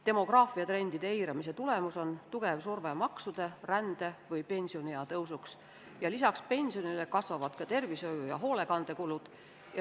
Demograafiatrendide tulemus on tugev surve maksude ja rände suurenemiseks või pensioniea tõusuks ja lisaks pensionile kasvavad ka tervishoiu- ja hoolekandekulud.